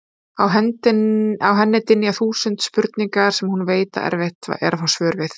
Á henni dynja þúsund spurningar sem hún veit að erfitt er að fá svör við.